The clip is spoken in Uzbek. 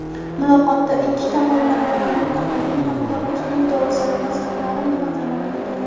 muloqotda ikki tomonlama va mintaqaviy hamkorlikning dolzarb masalalari muhokama qilingan.